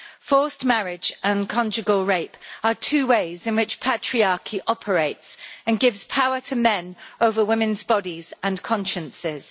Forced marriage and conjugal rape are two ways in which patriarchy operates and gives power to men over women's bodies and consciences.